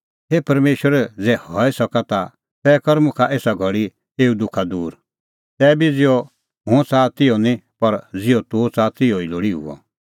हे परमेशर ज़ै हई सके ता तै कर मुखा एसा घल़ी एऊ दुखा दूर तैबी ज़िहअ हुंह च़ाहा तिहअ निं पर ज़िहअ तूह च़ाहा तिहअ लोल़ी हुअ